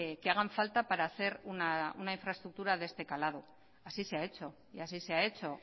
que hagan falta para hacer una infraestructura de este calado así se ha hecho y así se ha hecho